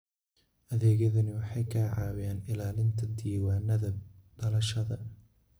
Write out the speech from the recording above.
Adeegyadani waxay ka caawiyaan ilaalinta diiwaannada dhalashada.